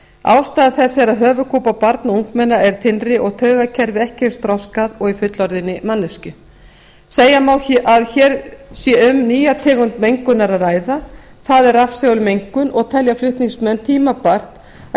ástæða þess er að höfuðkúpa barna og ungmenna er þynnri og taugakerfi ekki eins þroskað og í fullorðinni manneskju segja má að hér sé um nýja tegund mengunar að ræða það er rafsegulsmengun og telja flutningsmenn tímabært að